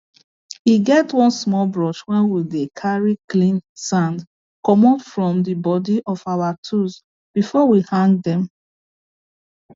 e get one small brush wey we dey carry clean sand commot from the body of our tools before we hang them